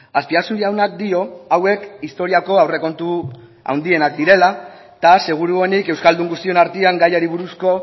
azpiazu jaunak dio hauek historiako aurrekontu handienak direla eta seguruenik euskaldun guztion artean gaiari buruzko